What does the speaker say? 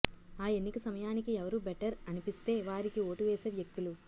ఆ ఎన్నిక సమయానికి ఎవరు బెటర్ అనిపిస్తే వారికి ఓటు వేసే వ్యక్తులు